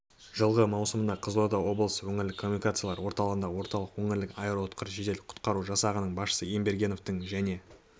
жылғы маусымында қызылорда облысы өңірлік коммуникациялар орталығында орталық өңірлік аэроұтқыр жедел құтқару жасағының басшысы ембергеновтің және